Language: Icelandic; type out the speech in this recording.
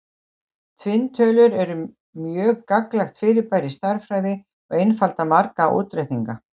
tvinntölur eru mjög gagnlegt fyrirbæri í stærðfræði og einfalda marga útreikninga